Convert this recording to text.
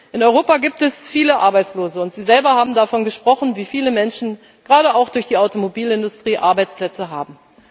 In Europa gibt es viele Arbeitslose, und Sie selber haben davon gesprochen, wie viele Menschen gerade auch durch die Automobilindustrie Arbeitsplätze haben.